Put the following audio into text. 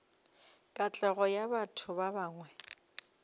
katlego ya batho ba bangwe